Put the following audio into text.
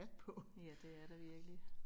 Ja det er der virkelig